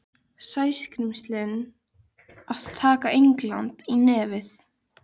Hana Sonju? muldraði Tóti og sneri allur öfugur í sætinu.